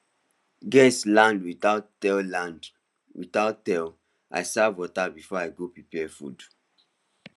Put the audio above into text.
guests land without tell land without tell i serve water before i go prepare food